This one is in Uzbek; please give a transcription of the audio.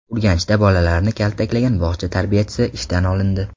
Urganchda bolalarni kaltaklagan bog‘cha tarbiyachisi ishdan olindi.